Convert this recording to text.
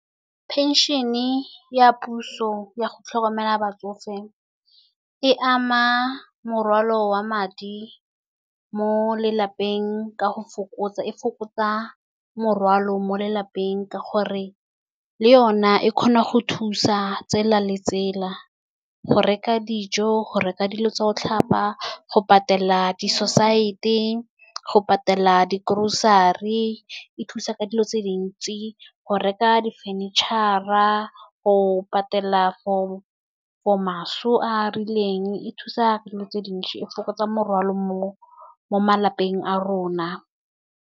Pension e ya puso ya go tlhokomela batsofe e ama morwalo wa madi mo lelapeng, ka go fokotsa. E fokotsa morwalo mo lelapeng ka gore le yona e kgona go thusa tsela le tsela go reka dijo, go reka dilo tsa go tlhapa, go patela di-society, go patela di grocery. E thusa ka dilo tse dintsi go reka di furniture-a, go patela for maso a rileng, e thusa dilo tse dintsi, e fokotsa morwalo mo malapeng a rona.